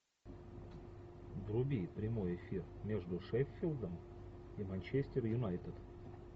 вруби прямой эфир между шеффилдом и манчестер юнайтед